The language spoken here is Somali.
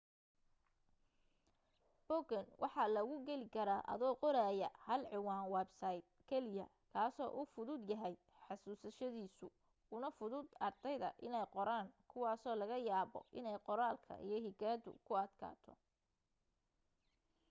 boggan waxa lagu geli karaa adoo qoraya hal ciwaan websayt keliya kaasoo uu fududyahay xasuusashadiisu una fudud ardayda inay qoraan kuwaasoo laga yaabo inay qoraalka iyo higaadu ku adkaato